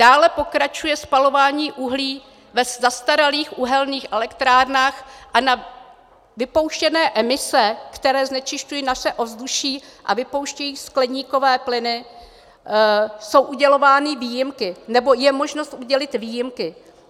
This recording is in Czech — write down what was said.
Dále pokračuje spalování uhlí v zastaralých uhelných elektrárnách a na vypouštěné emise, které znečišťují naše ovzduší a vypouštějí skleníkové plyny, jsou udělovány výjimky, nebo je možnost udělit výjimky.